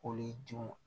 Kolodenw